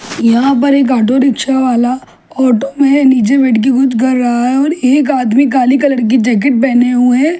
यहां पर एक ऑटो रिक्शा वाला ऑटो में नीचे बैठके कुछ कर रहा है और एक आदमी काले कलर की जैकिट पहने हुए खड़ा --